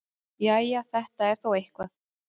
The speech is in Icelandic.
Jæja, þetta er þó eitthvað.